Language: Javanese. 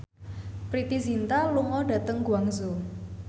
Preity Zinta lunga dhateng Guangzhou